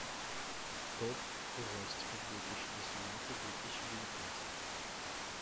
топ ужастиков две тысячи восемнадцать две тысячи девятнадцать